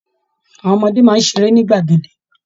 Àwọn ọmọdé máa ń ṣeré ní gbàgede